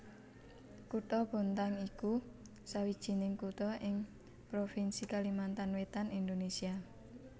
Kutha Bontang iku sawijining kutha ing provinsi Kalimantan Wétan Indonésia